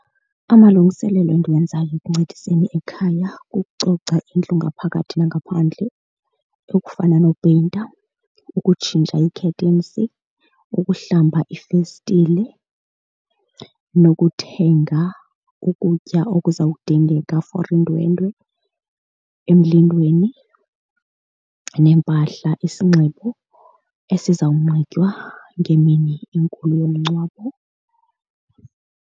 Amalungiselelo endiwenzayo ekuncediseni ekhaya kukucoca indlu ngaphakathi nangaphandle okufana nopeyinta, ukutshintsha ii-curtains, ukuhlamba iifestile nokuthenga ukutya okuzawudingeka for iindwendwe emlindweni neempahla, isinxibo esizawunxitywa ngemini enkulu yomngcwabo.